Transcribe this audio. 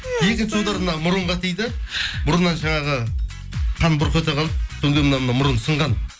мына мұрынға тиді мұрнымнан жаңағы қан бұрқ ете қалды содан кейін мынау мұрын сынған